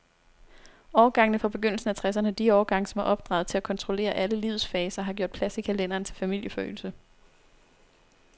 Årgangene fra begyndelsen af tresserne, de årgange, som er opdraget til at kontrollere alle livets faser, har gjort plads i kalenderen til familieforøgelse.